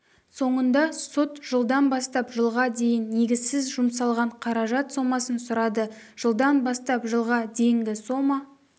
соңында сот жылдан бастап жылға дейін негізсіз жұмсалған қаражат сомасын сұрады жылдан бастап жылға дейінгі сома